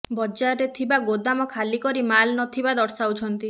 ବଜାରରେ ଥିବା ଗୋଦାମ ଖାଲି କରି ମାଲ ନଥିବା ଦର୍ଶାଉଛନ୍ତି